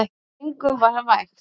Engum var vægt.